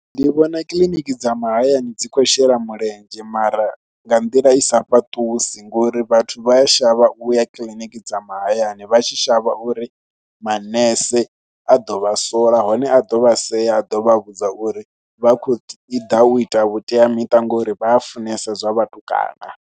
Ndi vhona kiḽiniki dza mahayani dzi khou shela mulenzhe mara nga nḓila i sa fhaṱusi ngori vhathu vha a shavha u ya kiḽiniki dza mahayani vha tshi shavha uri manese a ḓo vha sola hone a ḓo vha sea, a ḓo vha vhudza uri vha khou i ḓa u ita vhuteamiṱa ngori vha a funesa zwa vhatukana.